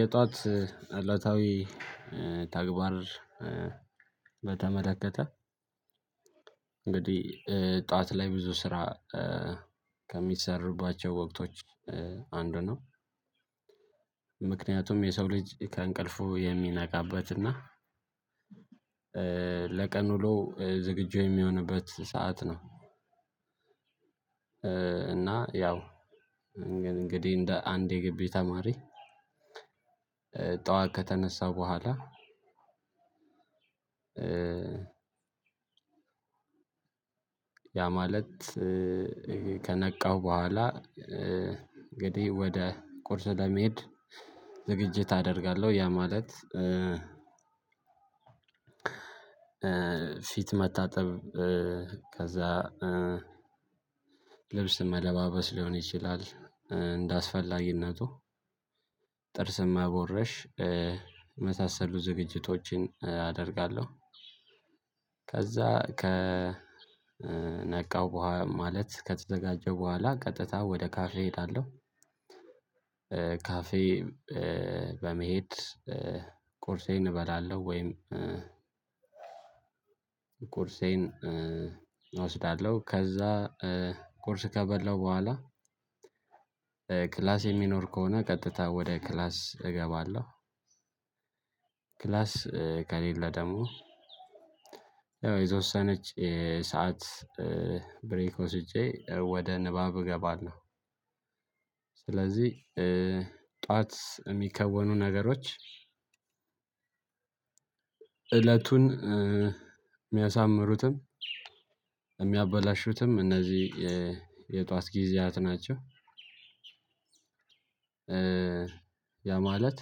የጥዋት እለታዊ ተግባር በተመለከተ እንግዲህ ጠዋት ላይ ብዙ ስራ ከሚሰሩባቸው ወቅቶች አንዱ ነው። ምክንያቱም የሰው ልጅ ከእንቅልፉ የሚነቃበት እና ለቀን ውሎ ዝግጁ የሚሆንበት ሰዓት ነው። እና ያው ግን እንግዲህ እንደ አንድ የግቢ ተማሪ። ጠዋት ከተነሳው በኋላ ያ ማለት ከነቃው በኋላ እንግዲህ ወደ ቁርስ ለመሄድ ዝግጅት አደርጋለሁ ያ ማለት ፊት መታጠብ ከዛ ልብስ መለባበስ ሊሆን ይችላል እንደአስፈላጊነቱ ጥርስን መቦረሽ የመሳሰሉ ዝግጅቶችን አደርጋለሁ። ከዛ ከነቃው በኋ ማለት ከተዘጋጀው በኋላ ቀጥታ ወደ ካፌ እሄዳለሁ። ካፌ በመሄድ ቁርሴን እበላለሁ ወይም ቁርሴን እወስዳለሁ ከዛ ቁርስ ከበላሁ በኋላ ክላስ የሚኖር ከሆነ ቀጥታ ወደ ክላስ እገባለሁ። ክላስ ከሌለ ደግሞ ያው የተወሰነች ሰዓት ብሬክ ወስጄ ወደ ንባብ እገባለሁ። ስለዚህ ጥዋት እሚከወኑ ነገሮች እለቱን ሚያሳምሩትም እሚያበላሹትም እነዚህ የ የጥዋት ጊዜያት ናቸው። ያ ማለት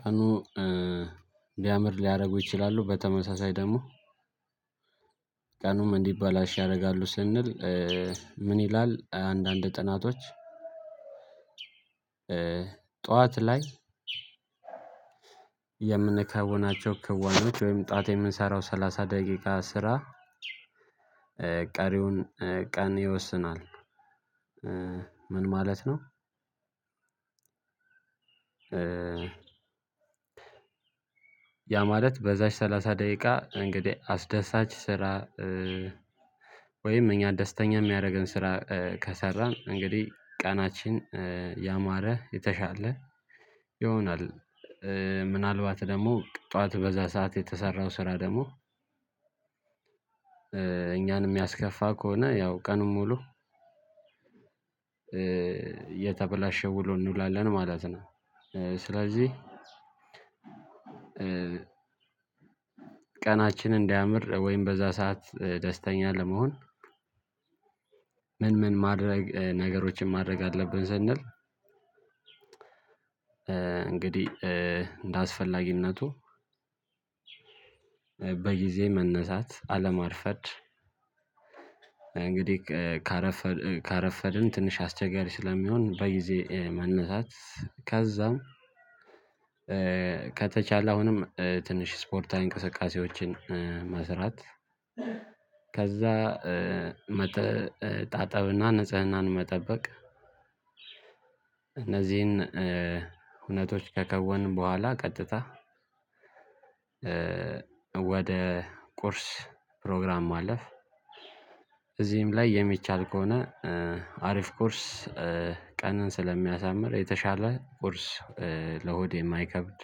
ቀኑ ቢያምር ሊያረጉ ይችላሉ። በተመሳሳይ ደግሞ ቀኑም እንዲበላሽ ያረጋሉ ስንል። ምን ይላል አንዳንድ ጥናቶች። ጠዋት ላይ የምንከውናቸው ክወናዎች ወይም ጠዋት የምንሰራው ሰላሳ ደቂቃ ስራ ቀሪውን ቀን ይወስናል። ምን ማለት ነው? ያ ማለት በዛች ሰላሳ ደቂቃ እንግዲህ አስደሳች ስራ ወይም እኛ ደስተኛ ሚያረገን ስራ ከሰራን እንግዲህ ቀናችን ያማረ የተሻለ ይሆናል። ምናልባት ደግሞ ጠዋት በዛ ሰዓት የተሰራው ስራ ደግሞ እኛን እሚያስከፋ ከሆነ ያው ቀኑን ሙሉ የተበላሸ ውሎ እንውላለን ማለት ነው። ስለዚህ ቀናችን እንዲያምር ወይም በዛ ሰዓት ደስተኛ ለመሆን ምን ምን ማድረግ ነገሮችን ማድረግ አለብን ስንል? እንግዲህ እንደ አስፈላጊነቱ በጊዜ መነሳት አለማርፈድ እንግዲህ ከ ካረፈድ ካረፈድን ትንሽ አስቸጋሪ ስለሚሆን በጊዜ መነሳት ከዛም ከተቻለ አሁንም ትንሽ ስፖርታዊ እንቅስቃሴዎችን መስራት። ከዛ መታጠብ እና ንጽህናን መጠበቅ። እነዚህን ሁነቶች ከከወንን በኋላ ቀጥታ ወደ ቁርስ ፕሮግራም ማለፍ እዚህም ላይ የሚቻል ከሆነ አሪፍ ቁርስ ቀንን ስለሚያሳምር የተሻለ ቁርስ ለሆድ የማይከብድ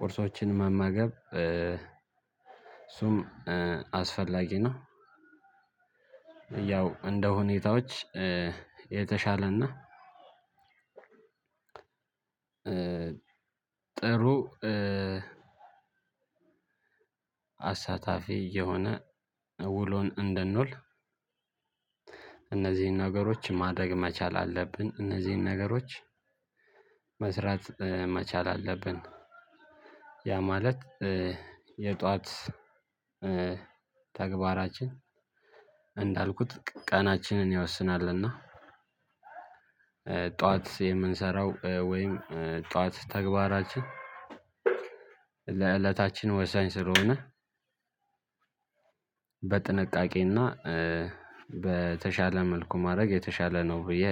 ቁርሶችን መመገብ እሱም አስፈላጊ ነው። ያው እንደ ሁኔታዎች የተሻለ እና ጥሩ አሳታፊ የሆነ ውሎን እንድንውል እነዚህን ነገሮች ማድረግ መቻል አለብን። እነዚህን ነገሮች መስራት መቻል አለብን። ያ ማለት የጥዋት ተግባራችን እንዳልኩት ቀ ቀናችንን ይወስናል። እና ጠዋት የምንሰራው ወይም ጠዋት ተግባራችን ለእለታችን ወሳኝ ስለሆነ በጥንቃቄ እና በተሻለ መልኩ ማረግ የተሻለ ነው። ብዬ